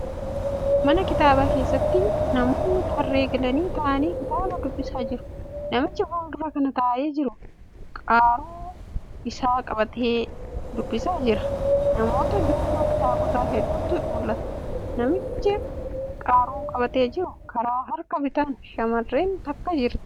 Mana kitaabaa keessatti namoonni tarree galanii taa'anii kitaaba dubbisaa jiru. Namichi fuuldura kana taa'ee jiru qaaruu isaa qabatee dubbisaa jira. Namoota duuba kitaabota hedduutu mul'ata. Namicha qaaruu qabatee jiru karaa harka bitaan shamarreen takka jirti.